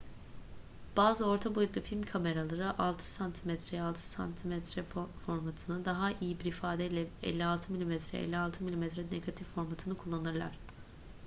bazı orta boyutlu film kameraları 6 cm'ye 6 cm formatını daha iyi bir ifadeyle 56' mm'ye 56 mm negatif formatını kullanırlar